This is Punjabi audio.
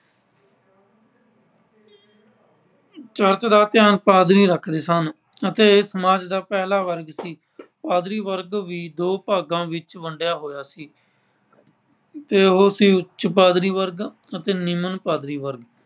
ਚਰਚ ਦਾ ਧਿਆਨ ਪਾਦਰੀ ਰੱਖਦੇ ਸਨ ਅਤੇ ਇਹ ਸਮਾਜ ਦਾ ਪਹਿਲਾ ਵਰਗ ਸੀ। ਪਾਦਰੀ ਵਰਗ ਵੀ ਦੋ ਭਾਗਾਂ ਵਿੱਚ ਵੰਡਿਆ ਹੋਇਆ ਸੀ ਤੇ ਉਹ ਸੀ ਉੱਚ ਪਾਦਰੀ ਵਰਗ ਅਤੇ ਨਿਮਨ ਪਾਦਰੀ ਵਰਗ